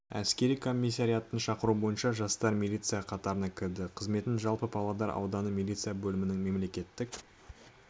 әскер комиссариятының шақыруы бойынша жастар милиция қатарына кірді қызметін жылы павлодар ауданы милиция бөлімінің мемлекеттік